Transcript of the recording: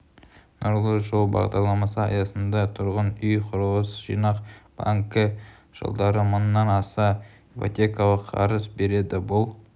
нұрлы жол бағдарламасы аясында тұрғын үй құрылыс жинақ банкі жылдары мыңнан аса ипотекалық қарыз береді бұл